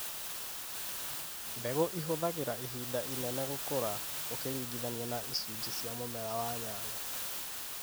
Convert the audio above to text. Mbegũ ihũthagĩra ihinda inene gũkũra ũkĩringithania na icunjĩ cia mũmera wa nyanya.